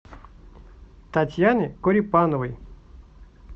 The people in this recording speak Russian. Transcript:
татьяне корепановой